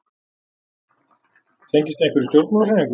Tengist þið einhverjum stjórnmálahreyfingum?